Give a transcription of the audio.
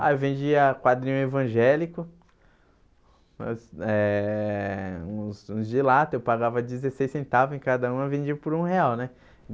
Ah, eu vendia quadrinho evangélico, uns eh uns uns de lata, eu pagava dezesseis centavos e cada um eu vendia por um real né.